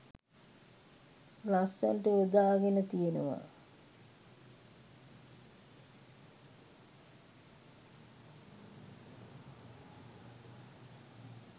ලස්සනට යොදාගෙන තියෙනවා.